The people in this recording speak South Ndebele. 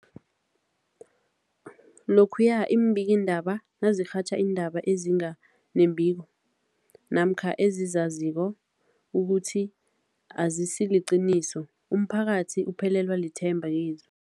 Lokhuya iimbikiindaba nazirhatjha iindaba ezinga nembiko namkha ezizaziko ukuthi azisiliqiniso, umphakathi uphelelwa lithemba kizo.